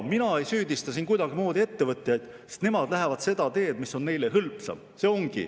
Mina ei süüdista siin ettevõtjaid, sest nemad lähevad seda teed, mis on neile hõlpsam.